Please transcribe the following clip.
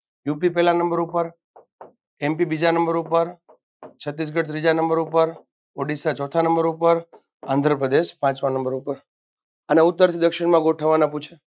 UP પહેલા number પર MP બીજા નંબર પર છત્તીસગઢ ત્રીજા નંબર પર ઓડિસા ચોથા નંબર પર આંધ્રપ્રદેશ પાંચમા નંબર પર આને ઉત્તરથી દક્ષિણમાં ગોઠવવાના પૂછે